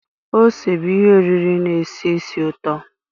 ose bụ ihe oriri na-esi ísì ụtọ